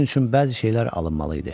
Bunun üçün bəzi şeylər alınmalı idi.